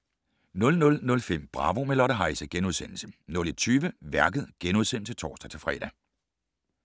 00:05: Bravo - med Lotte Heise * 01:20: Værket *(tor-fre)